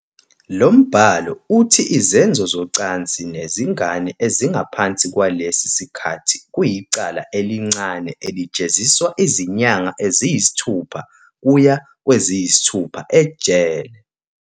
Lo mbhalo uthi izenzo zocansi nezingane ezingaphansi kwalesi sikhathi kuyicala elincane elijeziswa izinyanga eziyisithupha kuya kweziyisithupha ejele.